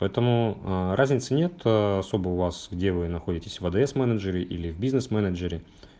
поэтому ээ разницы нет особо у вас где вы находитесь в адс менеджере или в бизнес менеджере